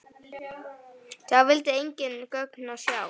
Sá vildi engin gögn sjá.